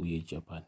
uye japan